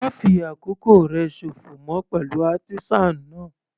Ma fi àkókò rẹ sòfò mọ́ pẹ̀lú artisan náà.